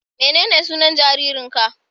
Menene sunan jaririnka?